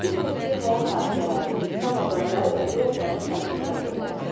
Bilirsiniz ki, həyat hadisələri, insan obrazları bədii əsərdə fərqli təqdim olunur.